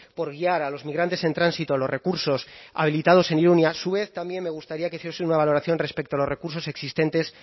por guiar a los migrantes en tránsito a los recursos habilitados en irun y a su vez también me gustaría que hiciese una valoración respecto a los recursos existentes